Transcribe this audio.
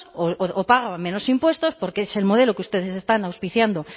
o paga menos impuestos porque es el modelo que ustedes están auspiciado